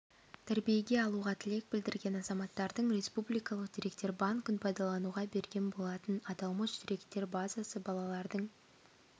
тәрбиеге алуға тілек білдірген азаматтардың республикалық деректер банкін пайдалануға берген болатын аталмыш деректер базасы балалардың